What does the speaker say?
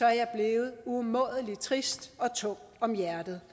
jeg blevet umådelig trist og tung om hjertet